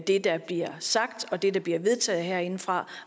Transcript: det der bliver sagt og det der bliver vedtaget herindefra